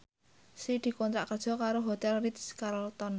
Sri dikontrak kerja karo Hotel Ritz Carlton